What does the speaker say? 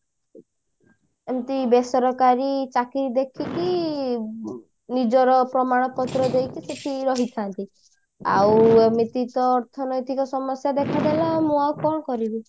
ଏମତି ବେସରକାରୀ ଚାକିରି ଦେଖିକି ନିଜର ପ୍ରମାଣ ପତ୍ର ଦେଇକି ସେଠି ରହିଥାନ୍ତି ଆଉ ଏମିତି ତ ଅର୍ଥନୈତିକ ସମସ୍ଯା ଦେଖା ଦେଲା ମୁଁ ଆଉ କଣ କରିବି